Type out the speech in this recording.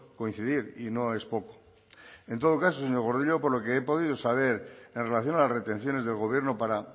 coincidir y no es poco en todo caso señor gordillo por lo que he podido saber en relación a las retenciones del gobierno para